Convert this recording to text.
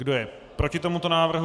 Kdo je proti tomuto návrhu?